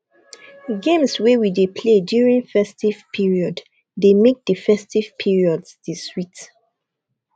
games wey we dey play during festive period dey make di festive periods dey sweet